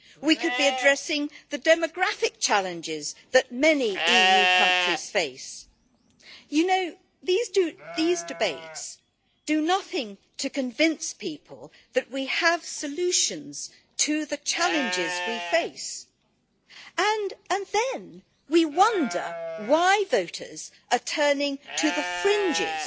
We could be addressing the demographic challenges that many EU countries face. Our debates do nothing to convince people that we have solutions to the challenges we face and then we wonder why voters are turning to the fringes